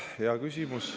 Hea küsimus.